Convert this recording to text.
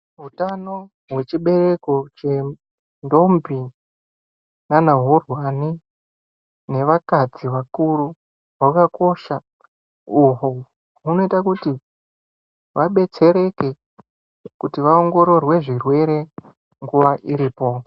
Utano hwechibereko chendombi nanahurwani nevakadzi vakuru hwakakosha uhwo hunoita kuti vabetsereke kuti vaongororwe zvirwere nguwa iripo.